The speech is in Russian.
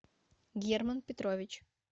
герман петрович